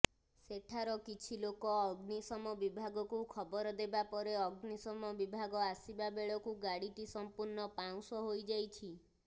ସେଠାର କିଛି ଲୋକ ଅଗ୍ନିସମ ବିଭାଗକୁ ଖବର ଦେବାପରେ ଅଗ୍ନିଶମ ବିଭାଗ ଆସିବାବେଳକୁ ଗାଡିଟି ସମ୍ପୂର୍ଣ୍ଣ ପାଉଁସ ହୋଇଯାଇଛି